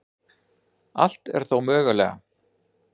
Allt er þó mögulega